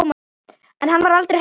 En var hann aldrei hræddur?